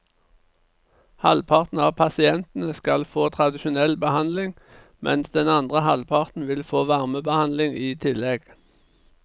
Halvparten av pasientene skal få tradisjonell behandling, mens den andre halvparten vil få varmebehandling i tillegg.